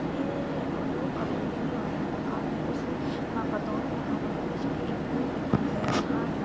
हएए और वो कवेली वाला मकान है उस मे के दोनों मकानों के बीच मे एक पेड़ दिखाई दे रहा है।